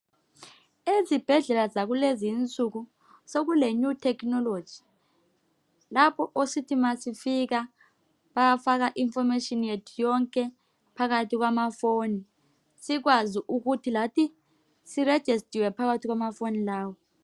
Ezibhedlela zakulezinsuku sokule new technology lapho esithi ma sifika bayafaka I information yethu yonke phakathi kwamafoni sikwazi ukuthi lathi si register phakathi kwamafoni lawo.